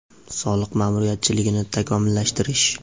Soliq ma’muriyatchiligini takomillashtirish.